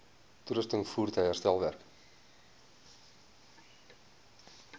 toerusting voertuie herstelwerk